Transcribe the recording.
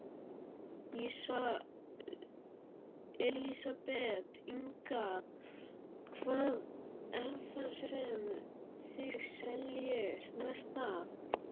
Elísabet Inga: Hvað er það sem þið seljið mest af?